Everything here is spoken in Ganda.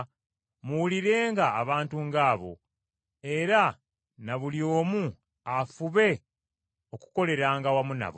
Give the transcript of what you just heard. muwulirenga abantu ng’abo, era na buli omu afube okukoleranga awamu nabo.